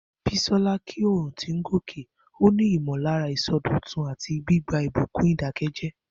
Bisola kí oòrùn tó ń gòkè, ó ní ìmọ̀lára ìsọdọ̀tun àti gbígba ìbùkún ìdákẹ́jẹ́ẹ́.